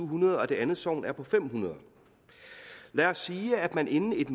hundrede og det andet sogn på fem hundrede og lad os sige at man inden et